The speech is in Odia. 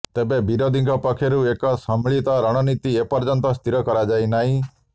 ତେବେ ବିରୋଧୀଙ୍କ ପକ୍ଷରୁ ଏକ ସମ୍ମିଳିତ ରଣନୀତି ଏପର୍ଯ୍ୟନ୍ତ ସ୍ଥିର କରାଯାଇନାହିଁ